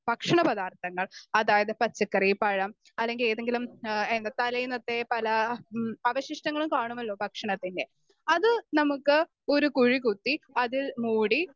Speaker 2 ഭക്ഷണപദാർത്ഥങ്ങൾ അതായത് പച്ചക്കറി, പഴം അല്ലെങ്കിൽ ഏതെങ്കിലും ഏ ആഹ് തലേന്നത്തെ പല മ് അവശിഷ്ടങ്ങളും കാണുമല്ലോ ഭക്ഷണത്തിൻ്റെ? അത് നമുക്ക് ഒരു കുഴികുത്തി അതിൽ മൂടി